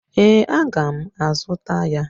Ee, aga m azụta ya.